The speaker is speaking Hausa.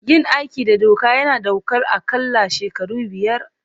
Yin aiki da doka yana ɗaukar aƙalla shekaru biyar.